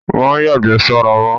Má yàgbẹ́ sára mọ́!